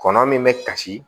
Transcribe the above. Kɔnɔ min bɛ kasi